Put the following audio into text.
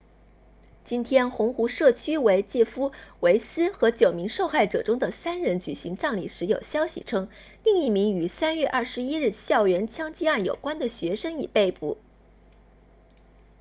今天红湖社区为杰夫韦斯 jeff weise 和九名受害者中的三人举行葬礼时有消息称另一名与3月21日校园枪击案有关的学生已被捕